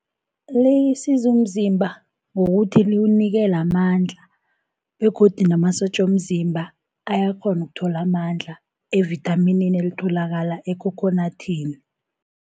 Lisiza umzimba ngokuthi liwunikela amandla, begodu namasotja womzimba ayakghona ukuthola amandla evithaminini elitholakala ekhokhonadini.